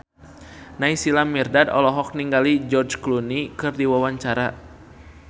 Naysila Mirdad olohok ningali George Clooney keur diwawancara